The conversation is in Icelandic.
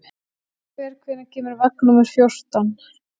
Kristofer, hvenær kemur vagn númer fjórtán?